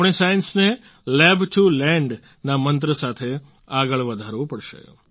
આપણે સાયન્સને lab to land ના મંત્ર સાથે આગળ વધારવું પડશે